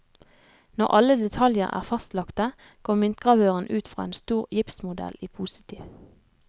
Når alle detaljer er fastlagte, går myntgravøren ut fra en stor gipsmodell i positiv.